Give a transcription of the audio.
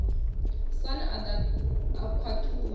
sun a ḓa a khathuwa